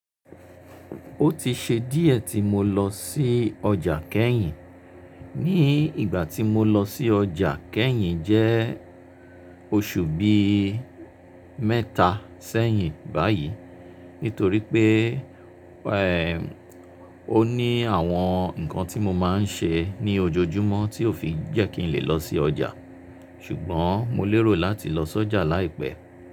Ó ti ṣe díẹ̀ tí mo lọ sí ọjà kẹ́yìn. Ní ìgbà tí mo lọ sí ọjà kẹ́yìn jẹ́ oṣù bí i mẹ́ta sẹ́yìn báyìí. Nítorí pé, ó ní àwọn nǹkan tí mo máa ń ṣe ní ojoojúmọ́ tí ò fi jẹ́ kí n lè lọ sí ọjà. Ṣùgbọ́n mo lérò láti lọ sọ́jà láìpẹ́.